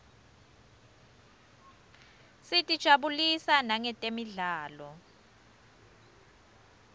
sitijabulisa nangetemidlalo